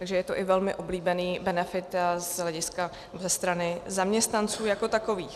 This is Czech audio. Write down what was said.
Takže je to i velmi oblíbený benefit ze strany zaměstnanců jako takových.